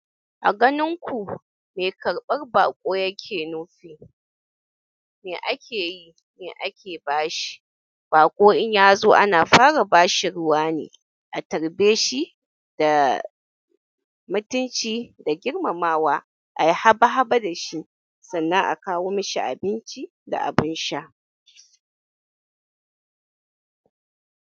A ganin ku, me karɓar baƙo yake nufi, me ake yi, me ake bashi? Baƙo in ya zo ana fara ba shi ruwa ne, a tarbe shi da mutunci da girmamawa, ai haba haba da shi, sannan a kawo mashi abinci da abin sha.